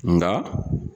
Nka